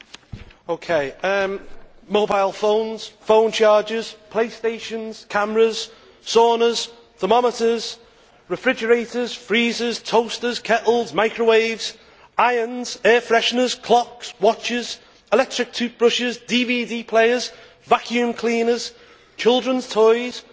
Madam President, mobile phones, phone chargers, play stations, cameras, saunas, thermometers, refrigerators, freezers, toasters, kettles, microwaves, irons, air fresheners, clocks, watches, electric toothbrushes, DVD players, vacuum cleaners, children's toys, video games,